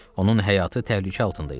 Onun həyatı təhlükə altında idi.